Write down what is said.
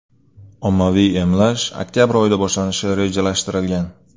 Ommaviy emlash oktabr oyida boshlanishi rejalashtirilgan.